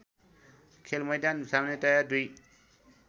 खेलमैदान सामान्यतया दुई